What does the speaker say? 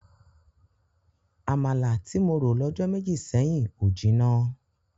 Àmàlà tí mo rò lọ́jọ́ méjì sẹ́yìn ò jinná.